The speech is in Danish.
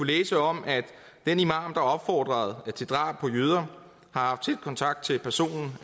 læse om at den imam der opfordrede til drab på jøder har haft tæt kontakt til personen